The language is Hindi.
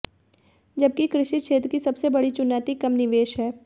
जबकि कृषि क्षेत्र की सबसे बड़ी चुनौती कम निवेश है